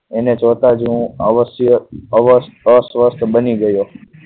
એને જોતાં જ હું અવશ્ય અસ્વસ્થ બની ગયો.